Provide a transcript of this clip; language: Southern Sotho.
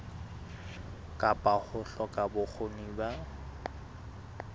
kapa ho hloka bokgoni ba